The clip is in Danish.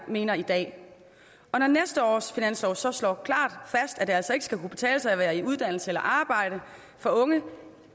mener i dag når næste års finanslov så slår klart fast at det altså ikke skal kunne betale sig at være i uddannelse eller arbejde for unge